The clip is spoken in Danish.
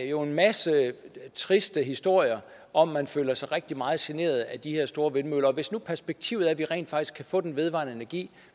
jo en masse triste historier om at man føler sig rigtig meget generet af de her store vindmøller og hvis nu perspektivet er at vi rent faktisk kan få den vedvarende energi